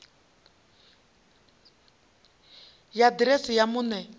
ya ḓiresi ya muṋe wa